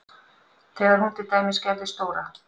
Þegar hún til dæmis gerði stóra